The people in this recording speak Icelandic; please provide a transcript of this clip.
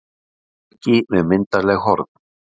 Bukki með myndarleg horn.